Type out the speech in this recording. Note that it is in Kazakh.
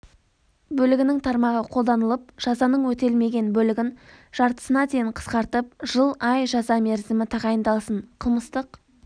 бөлігінің тармағы қолданылып жазаның өтелмеген бөлігін жартысына дейін қысқартып жыл ай жаза мерзімі тағайындалсын қылмыстық